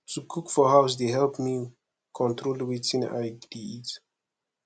to cook for house dey help me control wetin i dey eat